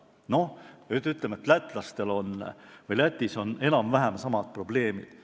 Noh, ütleme, et Lätis on enam-vähem samad probleemid.